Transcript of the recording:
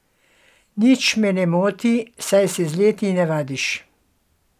Nič me ne moti, saj se z leti navadiš.